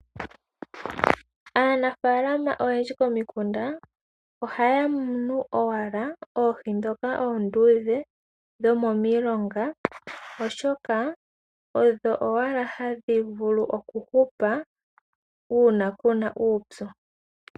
Aanafaalama oyendji komikunda ohaya munu owala oohi ndhoka oonduudhe dhomomilonga, oshoka odho owala hadhi vulu okuhupa uuna ku na uupyu.